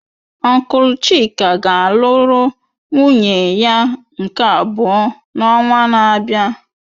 Ọnklu chika ga-alụrụ nwunye ya nke abụọ n'ọnwa na-abịa.